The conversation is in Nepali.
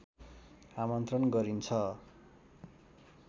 आमन्त्रण गरिन्छ